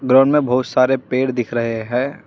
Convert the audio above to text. Ground में बहुत सारे पेड़ दिख रहे हैं।